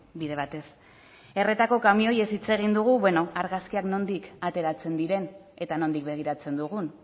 bide batez erretako kamioiez hitz egin dugu beno argazkiak nondik ateratzen diren eta nondik begiratzen dugun